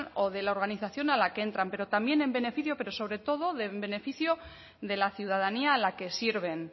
o de la organización a la que entran pero también en beneficio pero sobre todo en beneficio de la ciudadanía a la que sirven